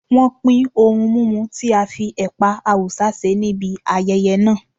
Wọ́n pin ohun mímu tí a fi ẹ̀pà Awúsá ṣe níbi ayẹyẹ náà.